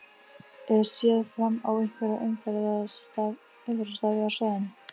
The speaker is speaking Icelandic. Er séð fram á einhverjar umferðartafir á svæðinu?